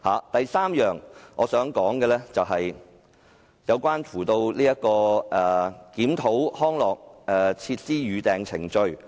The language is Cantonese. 第三，是關於陳淑莊議員的修正案建議，檢討康樂設施的預訂程序。